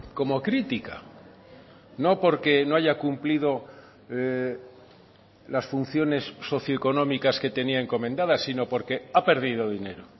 como crítica no porque no haya cumplido las funciones socioeconómicas que tenía encomendadas sino porque ha perdido dinero